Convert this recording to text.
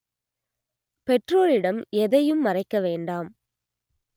பெற்றோரிடம் எதையும் மறைக்க வேண்டாம்